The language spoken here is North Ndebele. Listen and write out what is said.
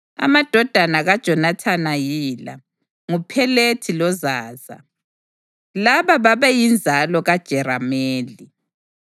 Amadodana kaJonathani yila: nguPhelethi loZaza. Laba babeyinzalo kaJerameli.